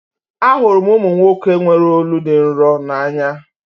Ahụrụ m ụmụ nwoke nwere olu dị nro n'anya